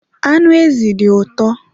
Anụ ezi dị ụtọ